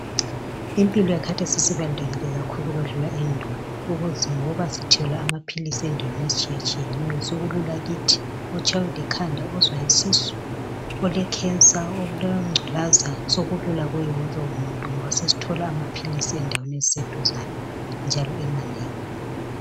impilo yakhathesi isibalulekile ukwedlula endulo ngoba sithola amaphilisi endaweni ezitshiyatshiyeneyo sokulula kithi loba utshaywa likhanda uzwa isisu ele cancer ulenculaza sokulula kuye wonke umutnu ngoba sesithola amaphilisi endaweni eziseduzane njalo emanengi